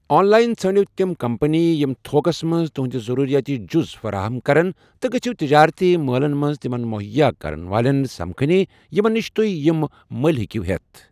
آن line ژھٲنٛڑِو تِم company یِم تھوکس منٛز تُہٕنٛدِ ضٔروٗرِیٲتی جُز فَراہم کَرن تہٕ گٔژِھو تِجٲرتی مٲلن منٛز تِمن مٔہیا کَرن والیٚن سمکٕھنہِ یِمن نِش تُہہِ یِم مٔلِہِ ہیٚکِو ہیٚتھ ۔